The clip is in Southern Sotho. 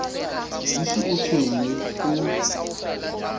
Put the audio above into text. di se o tshwenye o